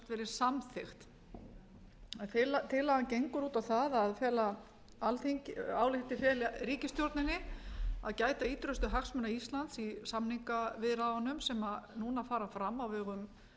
hún verið samþykkt tillagan gengur á á það að alþingi ályktar að fela ríkisstjórninni að gæta ýtrustu hagsmuna íslands í samningaviðræðum sem nú fara fram á vegum